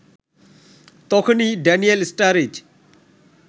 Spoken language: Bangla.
তখনই ড্যানিয়েল স্টারিজ